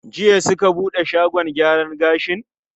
Jiya suka buɗe shagon gyara gashin?